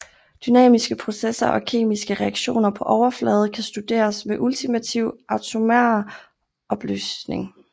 Dynamiske processer og kemiske reaktioner på overflader kan studeres med ultimativ atomar opløsning